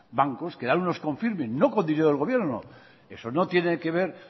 bancos que dan unos confirming no con dinero del gobierno eso no tiene que ver